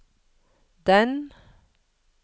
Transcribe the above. den